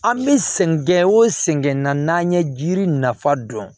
An bɛ sɛgɛn gɛn o sɛgɛn na n'an ye jiri nafa dɔn